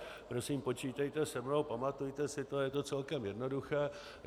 Prosím, počítejte se mnou, pamatujte si to, je to celkem jednoduché.